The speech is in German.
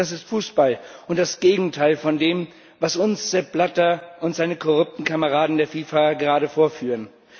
Das ist Fußball und das Gegenteil von dem, was uns Sepp Blatter und seine korrupten Kameraden der FIFA gerade vorführen.